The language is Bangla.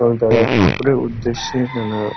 এবং তারা ঠাকুরের উদ্দেশ্যে নানা--